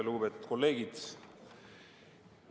Lugupeetud kolleegid!